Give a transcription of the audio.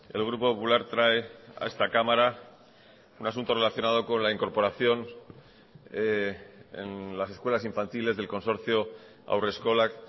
el grupo popular trae a esta cámara un asunto relacionado con la incorporación en las escuelas infantiles del consorcio haurreskolak